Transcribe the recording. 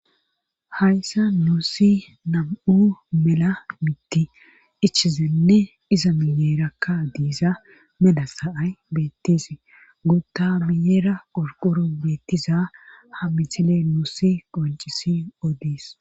Hayssan nuusi nam'u mela miththi eachidayssa iza miyerakka mela sa'ay beetees. guuththa guyra qorqoroy beetiza misile nuusi qonccisin oodees.